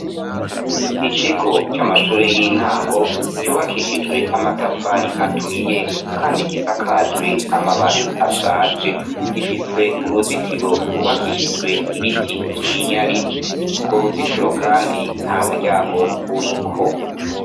Ikigo c'amashure y' intango cubakishijwe amatafari aturiye kandi gisakajwe amabati ashaje gifise uruzitiro gwubakishijwe ibiti vy' iminyari ugwo ruzitiro kandi ntamuryango uriko.